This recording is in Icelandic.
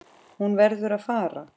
Hún verður að fara.